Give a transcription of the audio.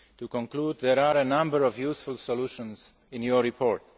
SMEs. To conclude, there are a number of useful solutions in your